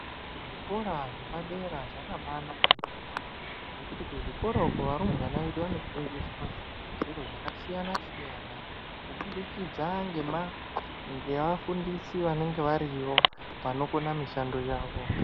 Zvikora zvepadera zvakabaanaka ngekuti kuzvikora uku varumbwana vedu vanofundiswa zviro zvakasiyana siyana kubudikidza ngema ngeafundisi vanenga variyo vanokona mushando.